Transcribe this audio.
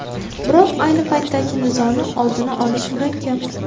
Biroq ayni paytdagi nizoni oldini olish murakkab.